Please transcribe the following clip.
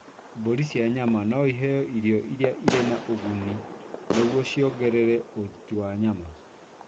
Mbũri cia nyama no iheo irio irĩ na ũguni nĩguo ciongerere ũruti wa nyama.